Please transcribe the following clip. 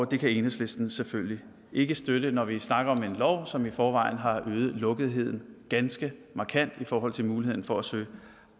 det kan enhedslisten selvfølgelig ikke støtte når vi snakker om en lov som i forvejen har øget lukketheden ganske markant i forhold til muligheden for at søge